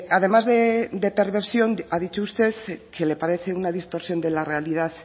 además de perversión ha dicho usted que le parece una distorsión de la realidad